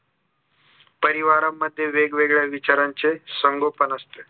परिवारामध्ये वेगवेगळ्या विचारांचे संगोपन असते